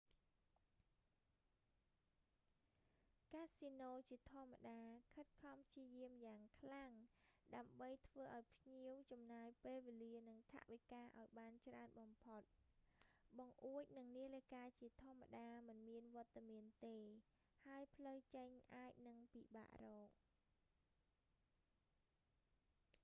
កាស៊ីណូជាធម្មតា ខិតខំព្យាយាមយ៉ាងខ្លាំងដើម្បីធ្វើឱ្យភ្ញៀវចំណាយពេលវេលា និង ថវិកាឱ្យបានច្រើនបំផុត បង្អួច និង នាឡិកាជាធម្មតាមិនមានវត្តមានទេ ហើយផ្លូវចេញអាចនឹងពិបាករក